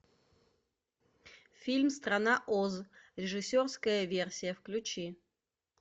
фильм страна оз режиссерская версия включи